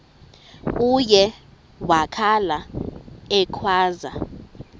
uye wakhala ekhwaza